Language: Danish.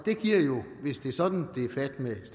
hvis det er sådan det er fat med